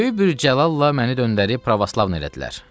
Böyük bir cəlalla məni döndərib pravoslav elədilər.